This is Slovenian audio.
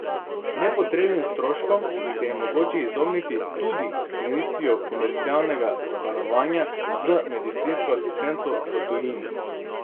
Nepotrebnim stroškom se je mogoče izogniti tudi s sklenitvijo komercialnega zavarovanja z medicinsko asistenco v tujini.